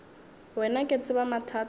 wena ke tseba mathata a